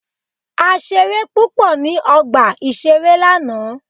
A ṣeré púpọ̀ ní ọgbà ìṣeré lánàá.